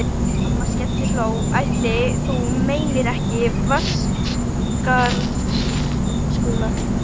Amma skellihló: Ætli þú meinir ekki Vatnsskarðshóla?